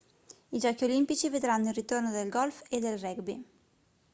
i giochi olimpici vedranno il ritorno del golf e del rugby